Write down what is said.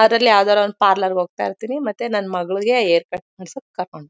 ಅದ್ರಲ್ಲಿ ಯಾವ್ದಾದ್ರೂ ಒಂದ್ ಪಾರ್ಲರ್ಗೆ ಹೋಗ್ತಾ ಇರ್ತಿನಿ ಮತ್ತೆ ನನ್ ಮಗಳಿಗೆ ಹೇರ್ ಕಟ್ ಮಾಡ್ಸಕ್ ಕರ್ಕೊಂಡ್--